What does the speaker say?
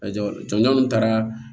jɔnjɔn taara